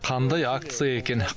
қандай акция екен